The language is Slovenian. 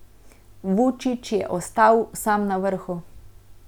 Vučić je ostal sam na vrhu.